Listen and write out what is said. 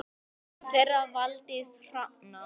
Barn þeirra Valdís Hrafna.